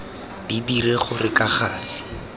di dire gore ka gale